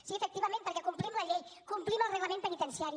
sí efectivament perquè complim la llei complim el reglament penitenciari